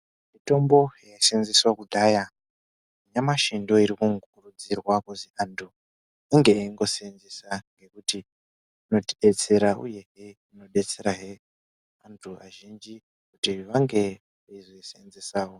Mitombo yaishandiswa kudhaya nyamashi ndooiri kukurudzirwa kuzwi antu inge yengoseenzeswa ngekuti inotidetsera uyezve yeibetserazve antu azhinji kuti azoiseenzesawo.